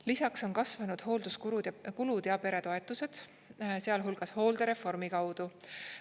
Lisaks on kasvanud hoolduskulud ja peretoetused, sealhulgas hooldereformi kaudu.